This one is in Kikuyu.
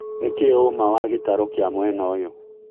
nĩ kĩ ũma wa gĩtarũ Kĩa mwena ũyũ